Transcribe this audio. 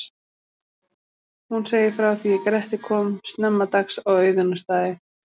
Hún segir frá því er Grettir kom snemma dags á Auðunarstaði.